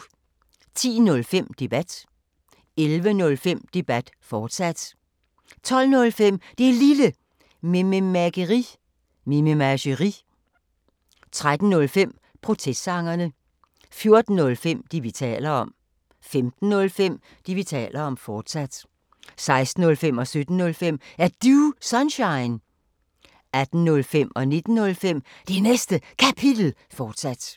10:05: Debat 11:05: Debat, fortsat 12:05: Det Lille Mememageri 13:05: Protestsangerne 14:05: Det, vi taler om 15:05: Det, vi taler om, fortsat 16:05: Er Du Sunshine? 17:05: Er Du Sunshine? 18:05: Det Næste Kapitel 19:05: Det Næste Kapitel, fortsat